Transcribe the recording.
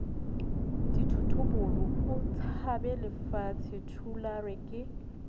dithotobolong o tshabelefatshe thulare ke